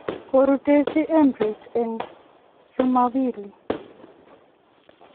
Korutenjin Emirates en chumombili.